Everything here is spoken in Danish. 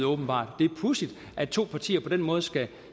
åbenbart det er pudsigt at to partier på den måde skal